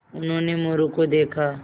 उन्होंने मोरू को देखा